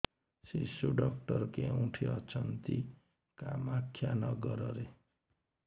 ଶିଶୁ ଡକ୍ଟର କୋଉଠି ଅଛନ୍ତି କାମାକ୍ଷାନଗରରେ